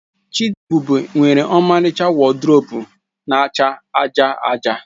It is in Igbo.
Chidiebube nwere ọmaricha wọdrobu na-acha aja aja.